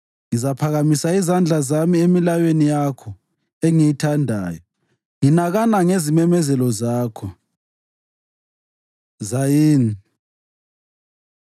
Ngizaphakamisa izandla zami emilayweni yakho engiyithandayo, nginakana ngezimemezelo zakho. ז Zayin